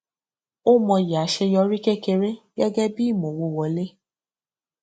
ó mọyì aṣeyọrí kékeré gẹgẹ bí ìmọwó wọlé